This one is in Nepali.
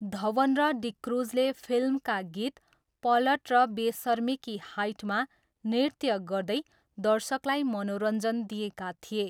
धवन र डिक्रुजले फिल्मका गीत पलट र बेसर्मी की हाइटमा नृत्य गर्दै दर्शकलाई मनोरञ्जन दिएका थिए।